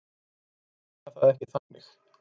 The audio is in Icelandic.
Ég meina það ekki þannig.